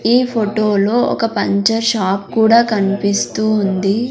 ఈ ఫొటో లో ఒక పంచర్ షాప్ కూడా కన్పిస్తూ ఉంది.